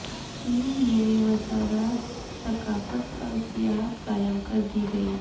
چین میں وزارت ثقافت اور سیاحت قائم کر دی گئی